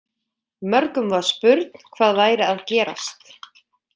Mörgum var spurn hvað væri að gerast.